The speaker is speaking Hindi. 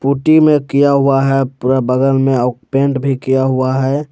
पुट्टी में किया हुआ है पूरा बगल में आउ पेंट भी किया हुआ है।